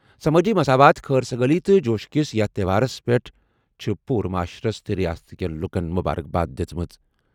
سمٲجی مساوات، خیر سگالی تہٕ جوشہٕ کِس یتھ تہوارَس پٮ۪ٹھ چھِ پوٗرٕ معاشرَس تہٕ ریاستٕکیٚن لُکَن مبارکباد دِژمٕژ۔